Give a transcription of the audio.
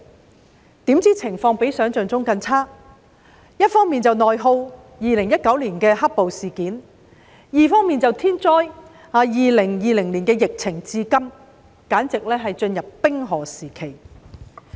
殊不知情況比想象中更差，一方面是內耗，即2019年的"黑暴"事件；另一方面就是天災 ，2020 年的疫情一直持續至今。